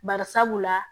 Barisabula